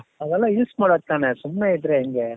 ಅವೆಲ್ಲ use ಮಾಡೋದ್ತಾನೆ ಸುಮ್ನೆ ಇದ್ರೆ ಹೆಂಗೆ ?